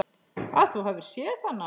Að þú hafir séð hana?